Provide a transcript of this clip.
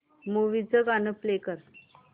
movie चं गाणं play कर